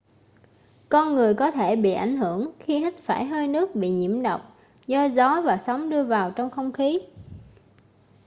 con người có thể bị ảnh hưởng khi hít phải hơi nước bị nhiễm độc do gió và sóng đưa vào trong không khí